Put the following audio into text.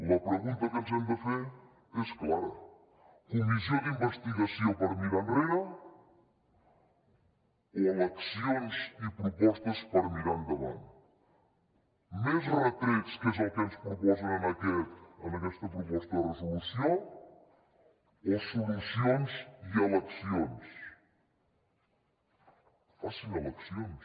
la pregunta que ens hem de fer és clara comissió d’investigació per mirar enrere o eleccions i propostes per mirar endavant més retrets que és el que ens proposen en aquesta proposta de resolució o solucions i eleccions facin eleccions